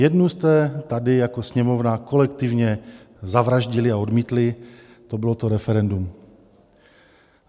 Jednu jste tady jako Sněmovna kolektivně zavraždili a odmítli, to bylo to referendum.